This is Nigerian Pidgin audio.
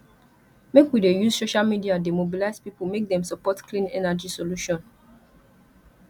make we dey use social media dey mobilize pipo make dem support clean energy solution